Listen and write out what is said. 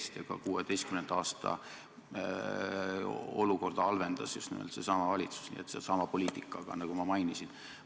Ka 2016. aasta olukorda halvendas just nimelt seesama valitsus, seesama poliitika, nagu ma mainisin.